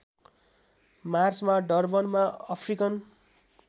मार्चमा डर्बनमा अफ्रिकन